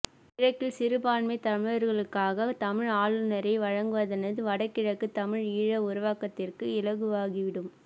கிழக்கில் சிறுபான்மை தமிழர்களுக்காக தமிழ் ஆளுநரை வழங்குவதானது வட கிழக்கு தமிழ் ஈழ உருவாக்கத்திற்கு இலகுவாகிவிடும்